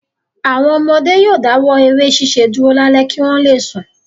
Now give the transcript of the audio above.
Àwọn ọmọdé yóò dáwọ́ eré ṣiṣẹ́ dúró lálẹ́ kí wọ́n le sùn.